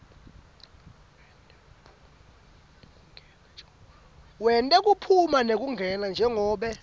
wetekuphuma nekungena njengobe